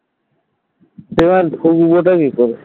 সেখানে ঢুকবটা কি করে?